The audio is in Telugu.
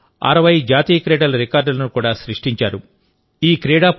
సుమారు 60 జాతీయ క్రీడల రికార్డులను కూడా సృష్టించారు